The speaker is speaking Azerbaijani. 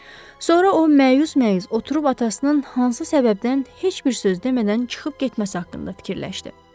Sonra o məyus-məyus oturub atasının hansı səbəbdən heç bir söz demədən çıxıb getməsi haqqında fikirləşdi.